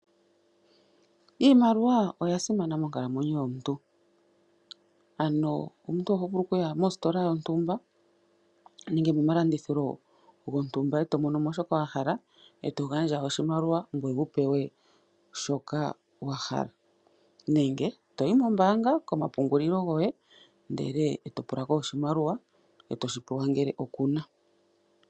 Iimaliwa oya simana monkalamweyo yomuntu, ano omuntu oho vulu okuya mositola yontumba nenge momalandithilo gontumba, e to mono mo shoka wa hala e to gandja oshimaliwa ngoye wu pewe shoka wa hala. Nenge to yi mombaanga komapungulilo goye, ndele to pula ko oshimaliwa e to shi pewa ngele oku na.